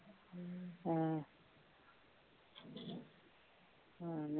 ਹਮ